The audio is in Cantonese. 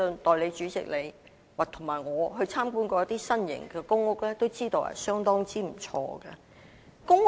代理主席，你和我也曾參觀一些新型的公屋，也知道這些公屋的質素相當不錯。